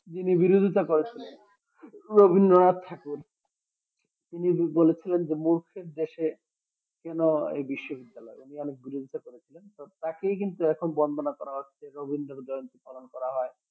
যিনি বিরধিতা করেন রবিন্দ্র নাথ ঠাকুর তিনি বলেছিলেন যে মূর্খের দেশে কেন এই বিশ্ব বিদ্যালয় এই নিয়ে অনেক বিরধিতা করেছিলেন তো তাকেই কিন্তু এখন বন্দনা করা হচ্ছে রবিন্দ্র জয়ন্তি পালন করা হয়